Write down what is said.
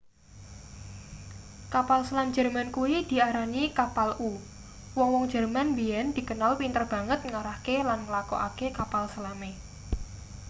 kapal selam jerman kuwi diarani kapal-u wong-wong jerman biyen dikenal pinter banget ngarahke lan nglakokake kapal selame